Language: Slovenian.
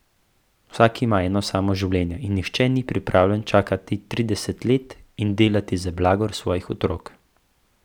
Vsak ima eno samo življenje in nihče ni pripravljen čakati trideset let in delati za blagor svojih otrok.